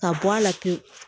Ka bɔ a la pewu